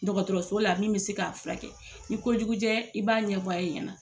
Dɔgɔtɔrɔso la min bɛ se k'a furakɛ, ni ko jugujɛ i b'a ɲɛf'a ye ɲɛna.